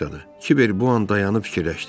Kiver bu an dayanıb fikirləşdi.